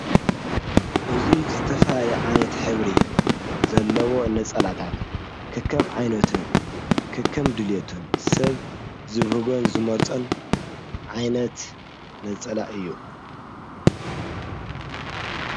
እዙይ ዘተፋልል ዓይነት ኅብሪ ዘለዎ ነጸላታት ክከም ዓይነትን ክከም ድልየቱን ሰብ ዝብህጐን ዝመርጽን ዓይነት ነጸላእ እዩ።